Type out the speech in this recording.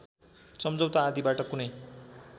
सम्झौता आदिबाट कुनै